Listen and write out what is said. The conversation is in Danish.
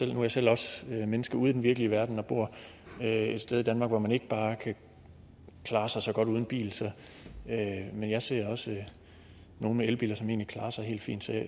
jeg selv også menneske ude i den virkelige verden og bor et sted i danmark hvor man ikke bare kan klare sig så godt uden bil men jeg ser også nogle med elbiler som egentlig klarer sig helt fint